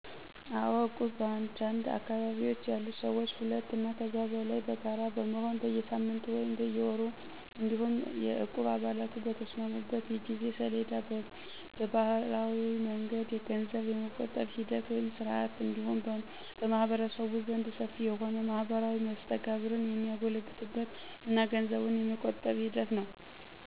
አዎ እቁብ በአንድ አካባቢ ያሉ ሰዎች ሁለት አና ከዚያ በላይ በጋራ በመሆን በየሳምንቱ ወይም በየወሩ እንዲሁም የእቁብ አባላቱ በተስማሙበት የጊዜ ሰሌዳ በባህላዊ መንገድ ገንዘብ የመቆጠብ ሂደት ወይም ስርዓት እንዲሁም በማህበረሰቡ ዘንድ ሰፊ የሆነ ማህበራዊ መስተጋብር የሚጎለብትበት እና ገንዘቡን የመቆጠብ ሂደት ነው።